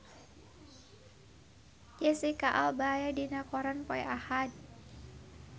Jesicca Alba aya dina koran poe Ahad